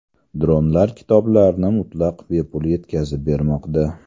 Dronlar kitoblarni mutlaq bepul yetkazib bermoqda.